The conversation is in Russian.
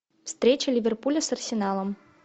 встреча ливерпуля с арсеналом